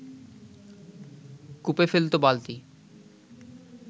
কূপে ফেলত বালতি